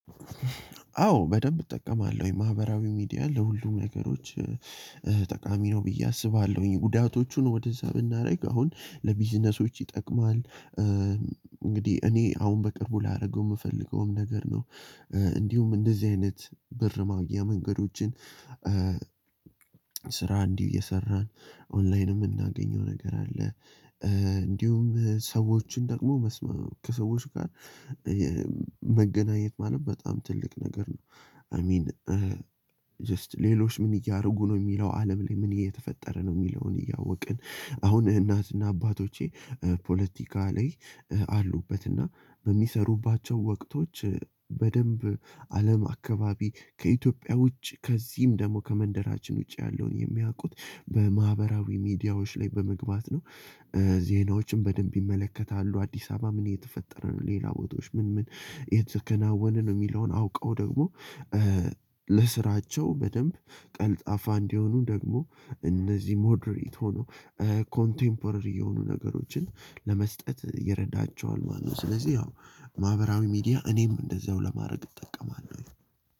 አዎ በደንብ እጠቀማለሁ የማህበራዊ ሚዲያ ለሁሉም ነገሮች ጠቃሚ ነው ብዬ አስባለሁኝ ጉዳቶቹን ወደዛ ብናደርግ አሁን ለቢዝነሶች ይጠቅማል። እንግዲህ እኔ አሁን በቅርቡ ላደርገው የምፈልገውም ነገር ነው። እንዲሁም እንደዚህ አይነት ብር ማግኛ መንገዶችን። ስራ እንድህ እየሰራን ኦንላይን የምናገኘው ነገር አለ። እንድሁም ሰዎችን ደግሞ መስመ ከሰዎች ጋር የመገናኘት ማለት በጣም ትልቅ ነገር ነው። አይ ሚን። ጀስት ሌሎች ምን እያደረጉ ነው የሚለው አለም ለይ ምን እየተፈጠረ ነው የሚለውን እያወቀን። አሁን እናት እና አባቶቼ ፖለቲካ ላይ አሉበት እና በሚሰሩባቸው ወቅቶች በደንብ አለም አካባቢ ከኢትዮጵያ ውጭ ከዚህም ደግሞ ከመንደራችን ውጪ ያለውን የሚያውቁት በማህበራዊ ሚዲያዎች ላይ በመግባት ነው። ዜናዎችን በደንም ይመለከታሉ አዲሳበ ምን እየተፈጠረ ነው ሌላ ቦታዎች ምን ምን እየተከናወና ነው የሚለውን አዉቀው ደግሞ። ለስራቸው በደንብ ቀልጣፋ እንዲሆኑ ደግሞ እነዚህ ሞዴሬት ሆኖ ኮንቴምፖረሪ የሆኑ ነገሮችን ለመስጠት ይረዳቸዋል ማለት ነው። ስለዚህ ያው ማህበራዊ ሚዲያ እኔም እንደዛው ለማድረግ እጠቀማለሁ።